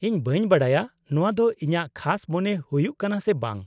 -ᱤᱧ ᱵᱟᱹᱧ ᱵᱟᱰᱟᱭᱟ ᱱᱚᱶᱟ ᱫᱚ ᱤᱧᱟᱹᱜ ᱠᱷᱟᱥ ᱢᱚᱱᱮ ᱦᱩᱭᱩᱜ ᱠᱟᱱᱟ ᱥᱮ ᱵᱟᱝ ᱾